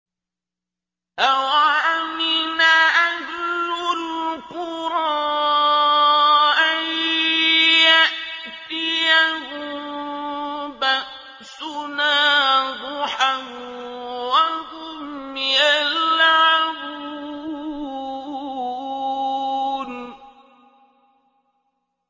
أَوَأَمِنَ أَهْلُ الْقُرَىٰ أَن يَأْتِيَهُم بَأْسُنَا ضُحًى وَهُمْ يَلْعَبُونَ